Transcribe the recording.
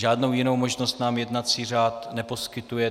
Žádnou jinou možnost nám jednací řád neposkytuje.